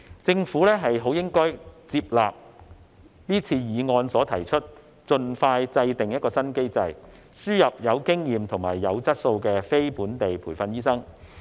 政府應該接納議案提出的建議，盡快制訂新機制，輸入有經驗及有質素的非本地培訓醫生。